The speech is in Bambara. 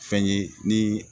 Fɛn ye ni